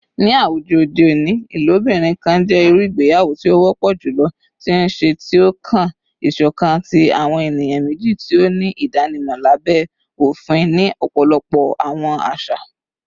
Ni awujọ ode oni, ilobirin kan jẹ iru igbeyawo ti o wọpọ julọ ti nṣe, ti o kan iṣọkan ti awọn eniyan meji ti o ni idanimọ labẹ ofin ni ọpọlọpọ awọn aṣa.